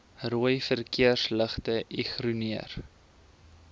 rooi verkeersligte ignoreer